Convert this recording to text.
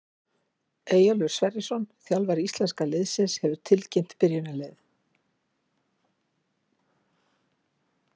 Eyjólfur Sverrisson, þjálfari íslenska liðsins, hefur tilkynnt byrjunarliðið.